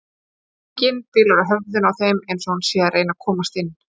Rigningin bylur á höfðinu á þeim eins og hún sé að reyna að komast inn.